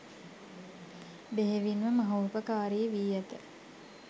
බෙහෙවින් ම මහෝපකාරී වී ඇත.